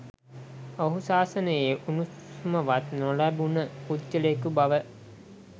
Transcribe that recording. ඔහු ශාසනයේ උණුසුමවත් නොලැබුණ පුද්ගලයකු බව